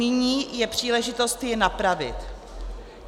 Nyní je příležitost je napravit.